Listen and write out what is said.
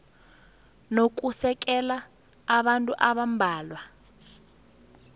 nokusekela kwabantu abambalwa